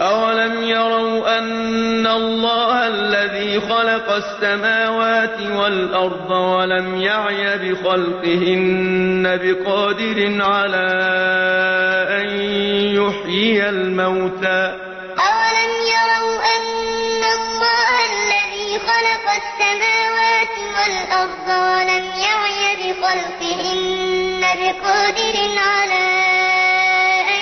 أَوَلَمْ يَرَوْا أَنَّ اللَّهَ الَّذِي خَلَقَ السَّمَاوَاتِ وَالْأَرْضَ وَلَمْ يَعْيَ بِخَلْقِهِنَّ بِقَادِرٍ عَلَىٰ أَن يُحْيِيَ الْمَوْتَىٰ ۚ بَلَىٰ إِنَّهُ عَلَىٰ كُلِّ شَيْءٍ قَدِيرٌ أَوَلَمْ يَرَوْا أَنَّ اللَّهَ الَّذِي خَلَقَ السَّمَاوَاتِ وَالْأَرْضَ وَلَمْ يَعْيَ بِخَلْقِهِنَّ بِقَادِرٍ عَلَىٰ أَن